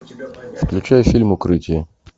включай фильм укрытие